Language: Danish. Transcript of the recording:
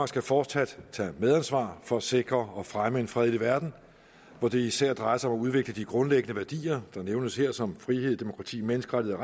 skal fortsat tage et medansvar for at sikre og fremme en fredelig verden hvor det især drejer sig om at udvikle de grundlæggende værdier der nævnes her som frihed demokrati menneskerettigheder